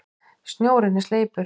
Snjórinn er sleipur!